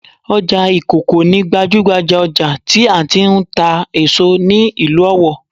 Ọjà ìkòkò ni gbajúhbajà ọjà tí a ti ń tà èso ní ìlú Ọ̀wọ̀